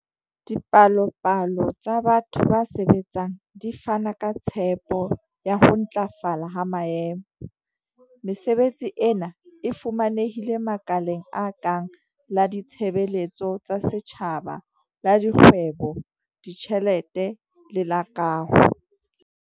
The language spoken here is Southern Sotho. Dipalopalo tsa batho ba sebetsang di fana ka tshepo ya ho ntlafala ha maemo. Mesebetsi ena e fumanehile makaleng a kang la ditshebeletso tsa setjhaba, la dikgwebo, ditjhelete le la kaho.